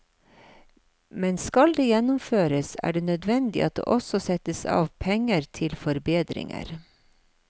Men skal det gjennomføres, er det nødvendig at det også settes av penger til forbedringer.